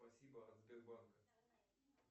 спасибо от сбербанка